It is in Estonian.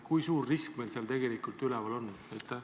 Kui suur risk meil sellega tegelikult üleval on?